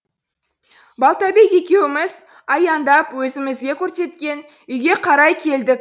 балтабек екеуіміз аяңдап өзімізге көрсеткен үйге қарай келдік